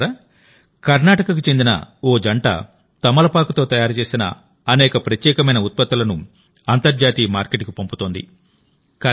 మిత్రులారాకర్నాటకకు చెందిన ఓ జంట తమలపాకుతో తయారు చేసిన అనేక ప్రత్యేకమైన ఉత్పత్తులను అంతర్జాతీయ మార్కెట్కు పంపుతోంది